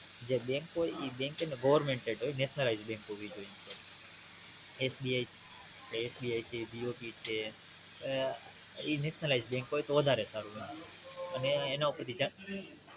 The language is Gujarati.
જે Bank હોય ઈ Bank Govt હોય ને Nationalization bank હોવી જોયે એસબીઆઈ એસબીઆઈ છે બી ઓ બી ઈ Nationalization bank હોય તો વધારે સારું અને એના ઉપર થી